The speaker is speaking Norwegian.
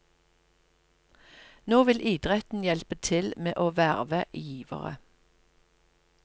Nå vil idretten hjelpe til med å verve givere.